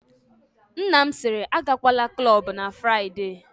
Nna m sịrị, agakwala klọbụ na Fraịde!